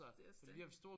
Det er også det